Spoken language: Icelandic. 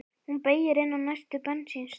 Hún beygir inn á næstu bensínstöð.